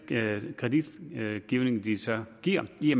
kredit de så giver i